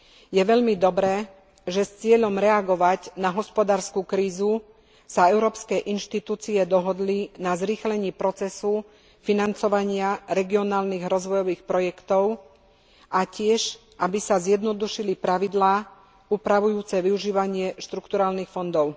Je veľmi dobré, že s cieľom reagovať na hospodársku krízu sa európske inštitúcie dohodli na zrýchlení procesu financovania regionálnych rozvojových projektov a tiež, aby sa zjednodušili pravidlá upravujúce využívanie štrukturálnych fondov.